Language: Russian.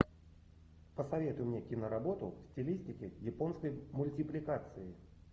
посоветуй мне киноработу в стилистике японской мультипликации